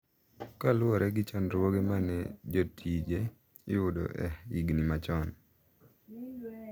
Kaluwore gi chandruoge ma ne jotije yudo e higni machon.